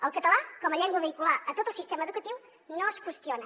el català com a llengua vehicular a tot el sistema educatiu no es qüestiona